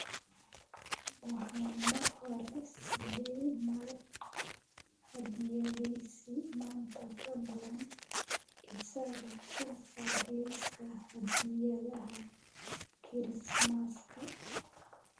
Waxaan mar hore siiyay Mark hadiyadiisa maanta fadlan isaga ka saar liiska hadiyadaha kirismaska